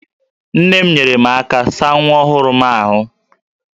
Nne m nyeere m aka saa nwa ọhụrụ m ahụ